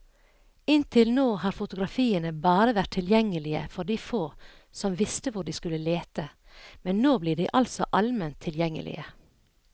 Inntil nå har fotografiene bare vært tilgjengelige for de få som visste hvor de skulle lete, men nå blir de altså alment tilgjengelige.